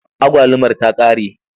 Agwalumar ta ƙare.